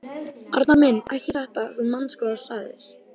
Arnar minn. ekki þetta. þú manst hvað þú sagðir!